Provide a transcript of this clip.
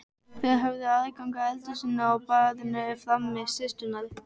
Þær höfðu aðgang að eldhúsinu og baðinu frammi, systurnar.